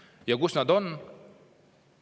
Ja kus nad on?